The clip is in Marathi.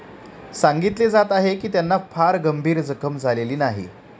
सांगितले जात आहे की त्यांना फार गंभीर जखम झालेली नाही.